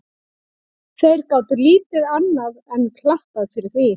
Þeir gátu lítið annað enn klappað fyrir því.